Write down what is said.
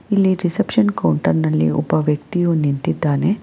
ಇಲ್ಲಿ reception counter ನಲ್ಲಿ ಒಬ್ಬ ವ್ಯಕ್ತಿಯು ನಿಂತಿದ್ದಾನೆ.